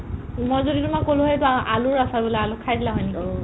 মই যদি তুমাল ক'লো হৈ আ আলুৰ আচাৰ বোলে আলু খাই দিলা হৈ নেকি ?